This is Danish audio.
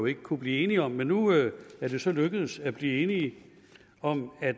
ikke kunnet blive enige om men nu er det så lykkedes at blive enige om at